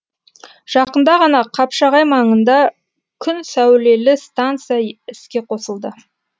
жақында ғана қапшағай маңында күн сәулелі станция іске қосылды